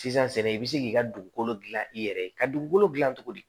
Sisan sɛnɛ i bɛ se k'i ka dugukolo gilan i yɛrɛ ye ka dugukolo gilan cogo di